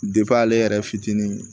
ale yɛrɛ fitinin